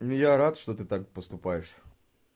ну я рад что ты так поступаешь